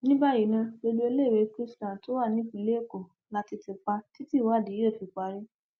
ní báyìí ná gbogbo iléèwé chrisland tó wà nípìnlẹ èkó la ti ti pa títí ìwádìí yóò fi parí